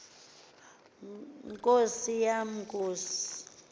nkosi yam nkosi